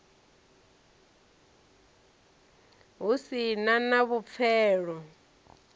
hu si na na vhupfelo